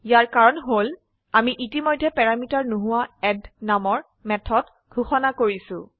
ইয়াৰ কাৰণ হল আমি ইতিমধ্যে প্যৰামিটাৰ নোহোৱা এড নামৰ মেথড ঘোষিত কৰিছো